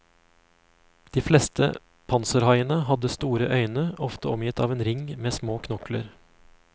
De fleste panserhaiene hadde store øyne, ofte omgitt av en ring med små knokler.